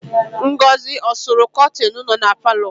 Ngọzị ọ sụrụ kọtịnụ nọ na palọ?